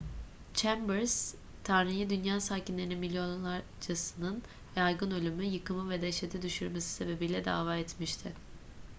chambers tanrı'yı dünya sakinlerinin milyonlarcasının yaygın ölümü yıkımı ve dehşete düşürülmesi sebebiyle dava etmişti